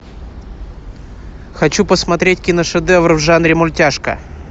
хочу посмотреть киношедевр в жанре мультяшка